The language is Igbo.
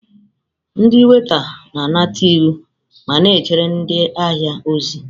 Ndị waita na-anata iwu ma na-ejere ndị ahịa ozi.